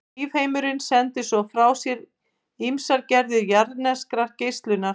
Lífheimurinn sendir svo frá sér ýmsar gerðir jarðneskrar geislunar.